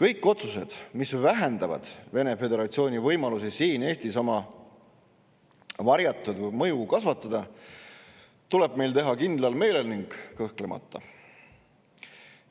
kõik otsused, mis vähendavad Vene föderatsiooni võimalusi siin Eestis oma varjatud mõju kasvatada, tuleb meil teha kindlal meelel ning kõhklemata.